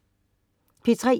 P3: